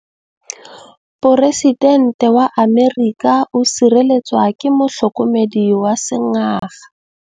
Poresitêntê wa Amerika o sireletswa ke motlhokomedi wa sengaga.